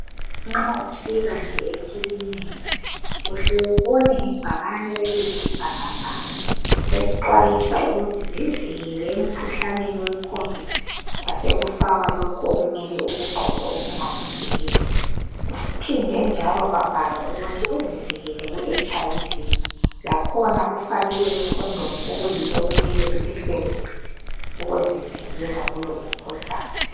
Nxa ufika nje ekilinika uhle ubone ngebhakani eliyisibhakabhaka elixwayisa ukuthi zivikele emkhuhlaneni wecovid kwasekufakhwa lokho okumele ukugqoke okungakuvikela. Kuphindwe njalo kwabhalwa ukuthi uzivikele kuHIV. Lakhona kufakiwe ikondomu okuyilo okumele ulisebenzise ukusivikela kulo umkhuhlane.